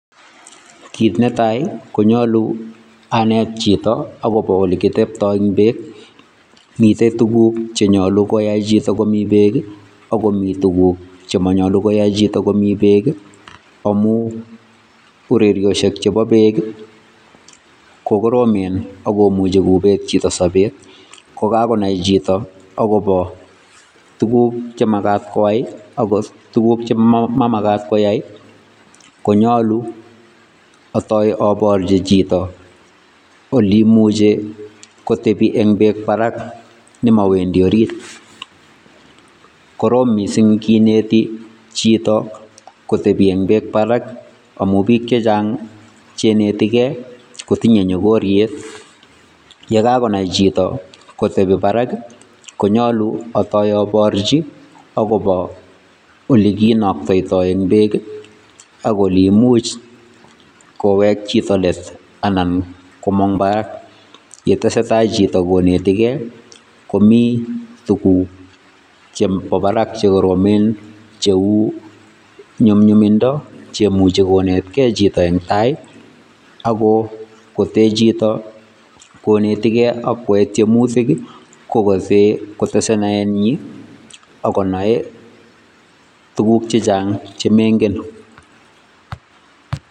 Kiit netai, konyolu anet chito akobo ole kiteptoi eng beek, mitei tuguk che nyolu koyai chito komi beek ako mi tuguk chemanyolu koyai chito komi beek amun urerioshek chebo beek ko koromen ako muchi kobeet chito sobet. Kokakonai chito akobo tuguk chemakat koyai ak tuguk chemamakat koyai konyolu atoi aporchi chito ole imuchei kotepi eng beek barak nemawendi arit. Koroom mising kineti chito kotepi eng beek barak amun biik che chang che inetikei kotinyei nyokoriet, ye kakonai chito eng barak konyolu atoi aporchi akobo ole kinaktoito eng beek ako olimuch kowek chito let anan komang barak, ye tesetai chito konetikei, komi tuguk chebo barak che koromen cheu nyumnyumindo che imuchei konetkei chito eng tai ako kotee chito konetikei ak kwae tiemutik kowase kotese naenyin ako nae tuguk chechang che mengen.